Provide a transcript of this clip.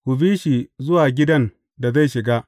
Ku bi shi zuwa gidan da zai shiga.